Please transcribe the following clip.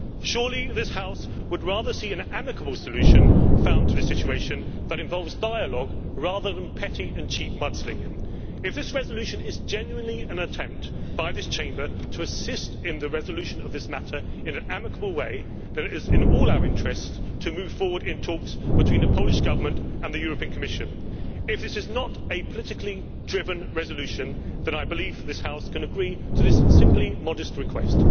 Surely this House would rather see an amicable solution found to the situation that involves dialogue rather than petty and cheap mudslinging. If this resolution is genuinely an attempt by this Chamber to assist in the resolution of this matter in an amicable way, then it is in all our interests to move forward in talks between the Polish Government and the Commission. If this is not a politically driven resolution, then I believe this House can agree to this simply modest request.